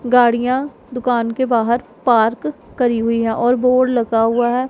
गाड़ियां दुकान के बाहर पार्क करी हुई हैं और बोर्ड लगा हुआ है।